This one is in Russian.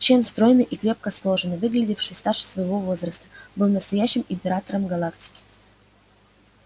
чен стройный и крепко сложенный выглядевший старше своего возраста был настоящим императором галактики